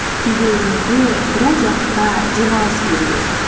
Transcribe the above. кейде өзіңізге біраз уақытқа демалыс беріңіз